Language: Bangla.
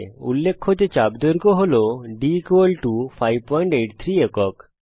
উল্লেখ্য যে চাপ দৈর্ঘ্য হয় d 583 একক